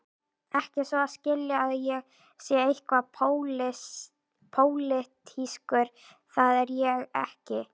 Ekki svo að skilja að ég sé eitthvað pólitískur, það er ég ekki.